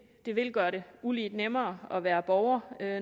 det vil gøre det ulige nemmere at være borger